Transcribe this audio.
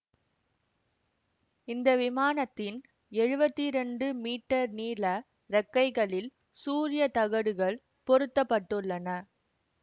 இந்த விமானத்தின் எழுவத்தி இரண்டு மீட்டர் நீள இறக்கைகளில் சூரியத் தகடுகள் பொருத்த பட்டுள்ளன